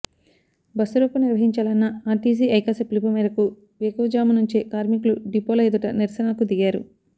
బస్సురోకో నిర్వహించాలన్న ఆర్టీసీ ఐకాస పిలుపు మేరకు వేకువజాము నుంచే కార్మికులు డిపోల ఎదుట నిరసనకు దిగారు